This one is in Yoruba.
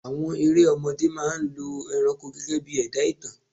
Àwọn erẹ̀ ọmọdé máa ń lọ ẹranko gegebii ẹ̀dá ìtàn